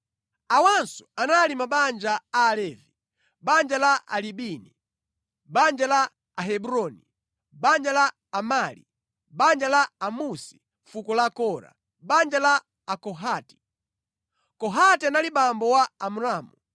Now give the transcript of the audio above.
Awanso anali mabanja a Alevi: banja la Alibini, banja la Ahebroni, banja la Amali, banja la Amusi, fuko la Kora banja la Akohati, (Kohati anali abambo a Amramu.